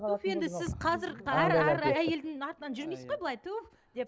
туф енді сіз қазір әр әр әйелдің артынан жүрмейсіз ғой былай туф деп